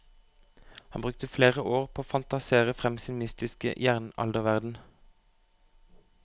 Han brukte flere år på å fantasere frem sin mytiske jernalderverden.